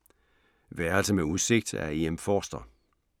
Værelse med udsigt af E. M. Forster